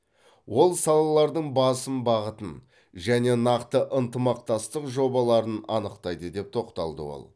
ол салалардың басым бағытын және нақты ынтымақтастық жобаларын анықтайды деп тоқталды ол